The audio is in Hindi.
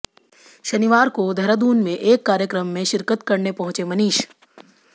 शनिवार को देहरादून में एक कार्यक्रम में शिरकत करने पहुंचे मनीष